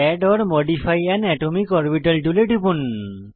add or modify an atomic orbital টুলে টিপুন